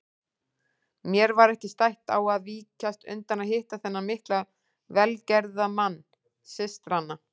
Mér var ekki stætt á að víkjast undan að hitta þennan mikla velgerðamann systranna.